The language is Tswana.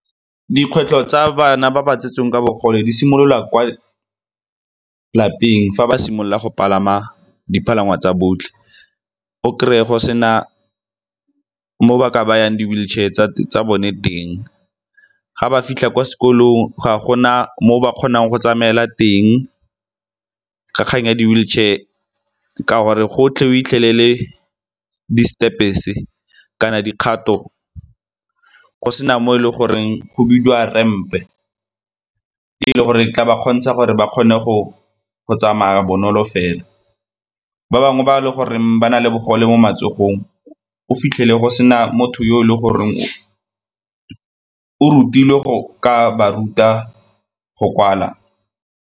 Dikgwetlho tsa bana ba ba tsetsweng ka bogole di simololwa kwa lapeng fa ba simolola go palama dipalangwa tsa botlhe. O kry-e go sena mo ba ka bayang di-wheelchair tsa bone teng, ga ba fitlha kwa sekolong ga gona moo ba kgonang go tsamaela teng. Kgang ya di-wheelchair ka gore gotlhe o fitlhelele di-steps-e kana dikgato go sena mo e leng goreng go bidiwa ramp-e e e le gore tla ba kgontsha gore ba kgone go tsamaya bonolo fela. Ba bangwe ba e le gore ba na le bogole mo matsogong o fitlhele go sena motho yo e leng gore o rutilwe go ka ba ruta go kwala.